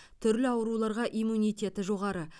түрлі ауруларға иммунитеті жоғары